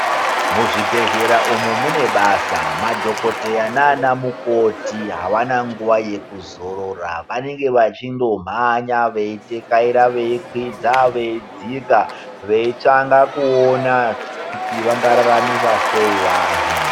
Mu zvibhehlera umu mune basa madhokoteya nana mukoti avana nguva yeku zorora anenge vachindo mhanya veitekaira veikwiza veidzika veitsvaka kuona kuti vanga raramisa sei vantu.